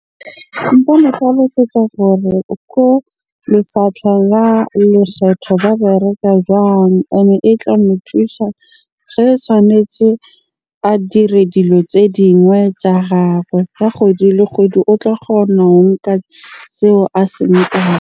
Nka mo tlhalosetsa gore ko lefapha la lekgetho ba bereka jwang? Ene e tla mo thusa tshwanetje a dire dilo tse dingwe tsa gagwe. Ka kgwedi le kgwedi o tla kgona ho nka seo a se nkang.